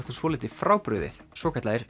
svolítið frábrugðið svokallaðir